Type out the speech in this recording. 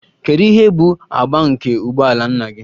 Kedu ihe bụ agba nke ụgbọ ala nna gị?